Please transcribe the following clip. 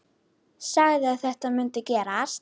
Sagði að þetta mundi gerast.